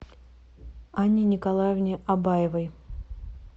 анне николаевне абаевой